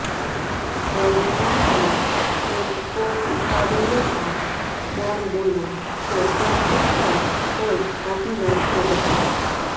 દરમિયાનમાં એક કોલ ઉપાડી લેતા કોણ બોલો છો તેમ કહેતા જ કોલ કાપી નાખ્યો હતો